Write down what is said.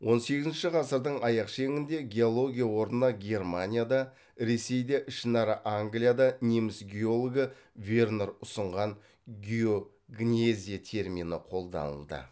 он сегізінші ғасырдың аяқ шеңінде геология орнына германияда ресейде ішінара англияда неміс геологы вернер ұсынған геогнезия термині қолданылды